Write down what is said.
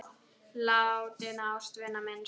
Látinna ástvina minnst.